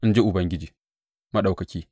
in ji Ubangiji Maɗaukaki.